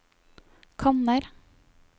kanner